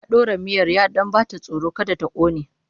Ya ɗora miyar ya ɗan ba ta tsoro don kada ta ƙone.